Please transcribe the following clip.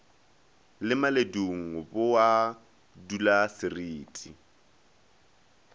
le maledung bo a dulasereti